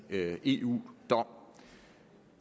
eu dom